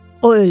O öldü.